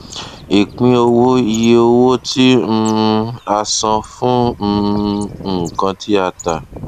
ìpín wo iye owó tí um a san fún um nkan tí a tà